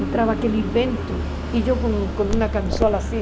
Entrava aquele vento e eu com uma camisola assim.